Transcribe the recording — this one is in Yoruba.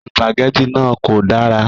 Sìpàgẹ́tì náà kò dára.